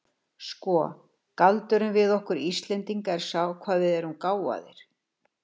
Sko, galdurinn við okkur Íslendinga er sá hvað við erum gáfaðir.